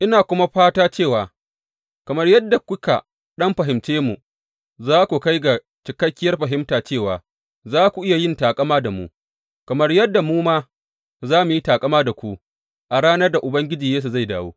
Ina kuma fata cewa, kamar yadda kuka ɗan fahimce mu, za ku kai ga cikakkiyar fahimta cewa za ku iya yin taƙama da mu, kamar yadda mu ma za mu yi taƙama da ku a ranar da Ubangiji Yesu zai dawo.